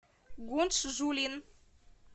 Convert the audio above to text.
гунчжулин